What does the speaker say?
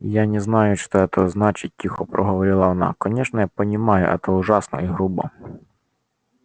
я не знаю что это значит тихо проговорила она конечно я понимаю это ужасно и грубо